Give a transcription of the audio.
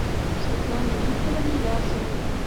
светлане викторовне басовой